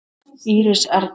Íris Erna.